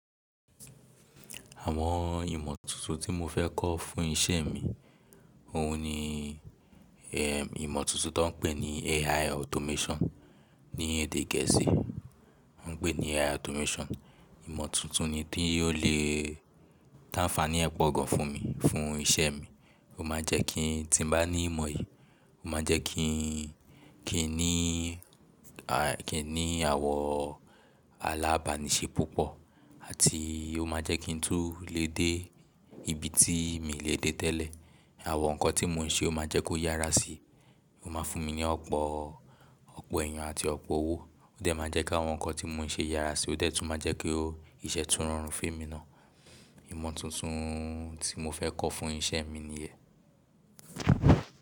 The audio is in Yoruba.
Àwọn ìmọ̀ tuntun tí mo fẹ́ kọ́ fún isẹ́ mi, òun ni ẹm, ìmọ̀ tuntun ti won n pè ní AI automation. Ni èdè gẹ̀ẹ́sì, wọ́n ń pè ní AI automation. Ìmọ̀ tuntun ni tí yóò le, tí anfaani ẹ po gan fún mi, fún isẹ́ mi. Ó máa jẹ́ kí tí n bá ní ìmọ̀ yìí, ó máa jẹ́ kí ń, kí ń ní à, kí ń ní àwọ alábàníṣe púpọ̀ àti ó máa jẹ́ kí n tún le dé ibi tí mi le dé tẹ́lẹ̀. Àwọn nǹkan tí mò ń ṣe ó máa jẹ́ kó yára sí i. Ó máa fún mi ní ọ̀pọ̀, ọ̀pọ̀ ẹ̀yàn àti ọ̀pọ̀ owó. Ó dẹ máa jẹ́ kí àwọn nkan tí mò ń ṣe yára sí i, ó dẹ tún máa jẹ́ kó iṣẹ́ tún rọrùn fé emi ná. Ìmọ̀ tuntun tí mo fẹ́ kọ́ fún isẹ́ mi niyẹn.